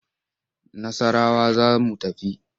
Nassarawa za mu tafi.